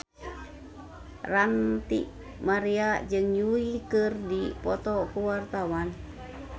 Ranty Maria jeung Yui keur dipoto ku wartawan